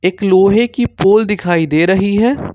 एक लोहे की पोल दिखाई दे रही है।